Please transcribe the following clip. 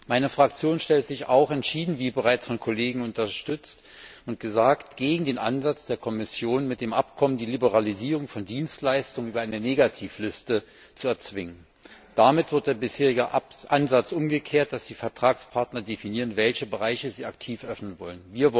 Meine Fraktion stellt sich auch wie bereits von einigen Kollegen gesagt wurde entschieden gegen den Ansatz der Kommission, mit dem Abkommen die Liberalisierung von Dienstleistung über eine Negativliste zu erzwingen. Damit wird der bisherige Ansatz umgekehrt, dass die Vertragspartner definieren, welche Bereiche sie aktiv öffnen wollen.